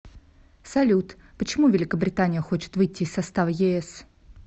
салют почему великобритания хочет выйти из состава ес